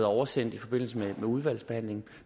oversendt i forbindelse med udvalgsbehandlingen